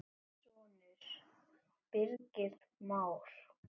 Þinn sonur, Birgir Már.